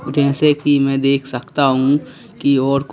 जैसे कि मैं देख सकता हूं कि और--